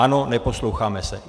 Ano, neposloucháme se.